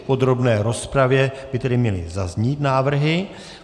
V podrobné rozpravě by tedy měly zaznít návrhy.